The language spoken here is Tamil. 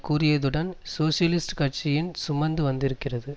கூறியதுடன் சோசியலிஸ்ட் கட்சியின் சுமந்து வந்திருந்தது